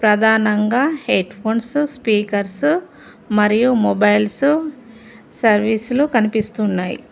ప్రదానంగా headphones speakers మరియు mobiles సర్వీసులు కనిపిస్తు ఉన్నయి.